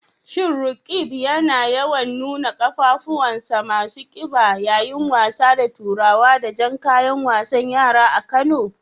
Shin Roqeeb yana yawan nuna qafafunsa masu kiba yayin wasa da turawa da jan kayan wasan yara a Kano